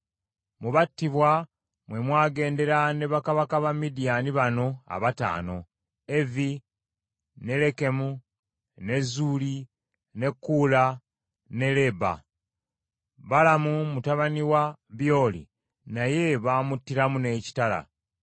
Mu battibwa mwe mwagendera ne bakabaka ba Midiyaani bano abataano: Evi, ne Lekemu, ne Zuuli, ne Kuula, ne Leeba. Balamu mutabani wa Byoli naye baamuttiramu n’ekitala.